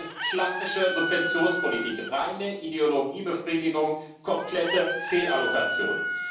Das ist klassische Subventionspolitik, reine Ideologiebefriedigung, komplette Fehlallokation.